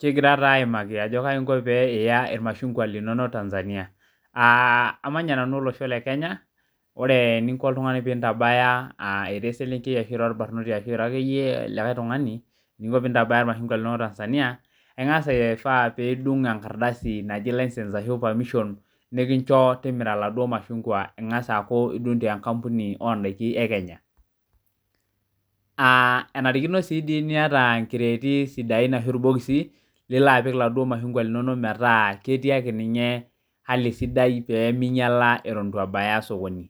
Kegira aimaki ajo kaja inko piya irmashungwa linonok tanzania aa amanya nanu olosho lekenya ore eninko peintabaga ira eselenkei ira orkijanai ashu ira ake likae tungani irmashungwa linonok tanzania ingasa adungu enkardasi naji license ashu permission nikincho timira laduo mashungwa ingasa aaku idung tenkampuni ekenya aa enarikino niata nkireti sidain ashu irbokisi nilo apik irmashungwa linonok metaa ketii ake ninye hali sidai atan ituebaya osokoni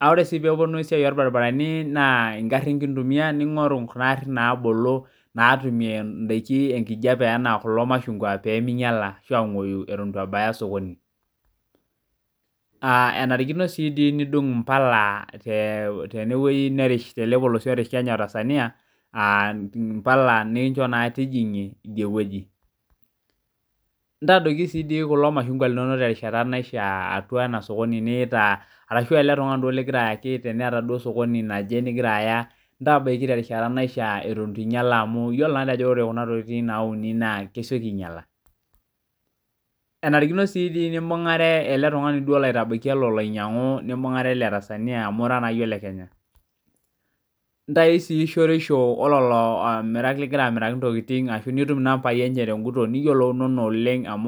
ore si pelotu esiai orbaribarani na ngarin kintumia ningoru ngarin nabolo peminyala ashu angoyu itubebaya osokoni enarikino si nidung mpala tenewoi narish kenya otanzaia mpala nikincho nijingie idiewueji ntadoki naa ele mashungwa ashu eletungani liyaita teneeta osokoni lingira aya ntabaki terishata naifaa amu iyiolo kuna tokitin nauni na kesieki ainyala enarikino nimbunga eletunganu olo ainyangu amu ira naayie olekenya ntau si shoriesho ololotunganak lingira amirami niyiolounono oleng.